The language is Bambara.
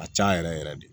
A ka ca yɛrɛ yɛrɛ yɛrɛ de